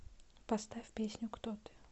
поставь песню кто ты